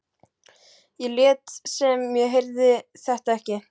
Ég lét sem ég heyrði þetta ekki.